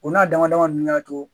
O n'a daman daman nunnu ya to.